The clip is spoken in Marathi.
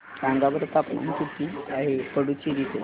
सांगा बरं तापमान किती आहे पुडुचेरी चे